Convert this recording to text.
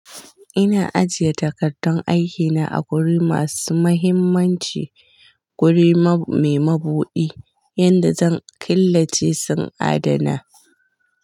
Ina ajiye takardun aiki na a guri masu mahimmanci, wuri me mabuɗi yadda zan killace su adana.